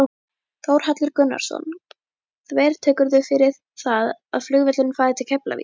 Þórhallur Gunnarsson: Þvertekurðu fyrir það að flugvöllurinn fari til Keflavíkur?